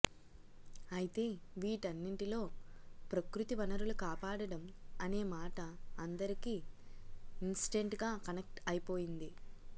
అయితే వీటన్నిటిలో ప్రకృతి వనరులు కాపాడడం అనే మాట అందరికి ఇన్స్టెంట్గా కనెక్ట్ అయిపోతుంది